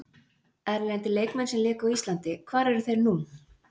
Erlendir leikmenn sem léku á Íslandi Hvar eru þeir nú?